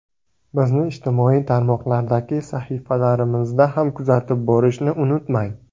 Bizni ijtimoiy tarmoqlardagi sahifalarimizda ham kuzatib borishni unutmang.